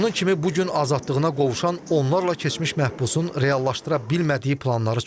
Onun kimi bu gün azadlığına qovuşan onlarla keçmiş məhbusun reallaşdıra bilmədiyi planları çoxdur.